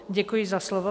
Děkuji za slovo.